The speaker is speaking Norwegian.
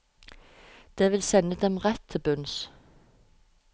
Det vil sende dem rett til bunns.